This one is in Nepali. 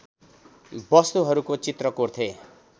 वस्तुहरूको चित्र कोर्थे